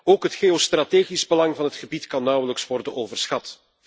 Ook het geostrategisch belang van het gebied kan nauwelijks worden overschat.